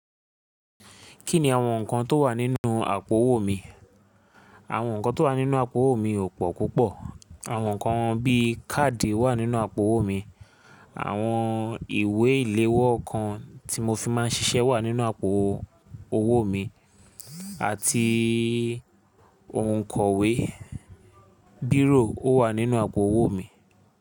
Kí ni àwọn nǹkan tó wà nínú àpò owó mi? Àwọn nǹkan tó wà nínú àpò owó mi ò pọ̀ púpọ̀. Àwọn nǹkan bí i káàdì wà nínú àpò owó mi. Àwọn ìwé ìléwọ́ kan tí mo fi máa ń ṣiṣẹ́ wà nínú àpò owó mi àti òǹkọ̀wé, bírò ó wà nínú àpò owó mi.